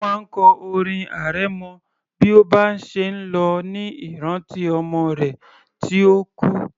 Ó máa ń kọ orin arẹmọ bí ó bá ṣe ń lọ ní ìrántí ọmọ rẹ̀ tí ó kú